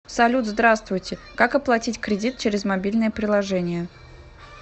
салют здравствуйте как оплатить кредит через мобильное приложение